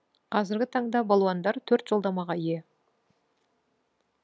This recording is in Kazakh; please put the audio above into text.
қазіргі таңда балуандар төрт жолдамаға ие